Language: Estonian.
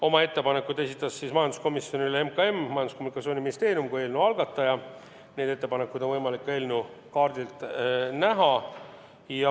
Oma ettepanekud esitas majanduskomisjonile Majandus- ja Kommunikatsiooniministeerium kui eelnõu algataja, neid ettepanekuid on võimalik eelnõu kaardilt näha.